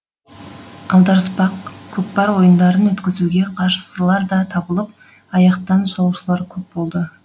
аударыспақ көкпар ойындарын өткізуге қарссылар да табылып аяқтан шалушылар көп болды